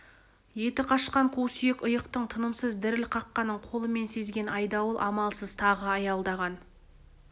еті қашқан қу сүйек иықтың тынымсыз діріл қаққанын қолымен сезген айдауыл амалсыз тағы аялдаған